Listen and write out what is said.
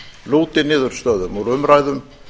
lúti niðurstöðum úr umræðum